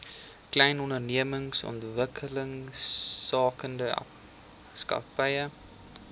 klein ondernemings ontwikkelingsagentskap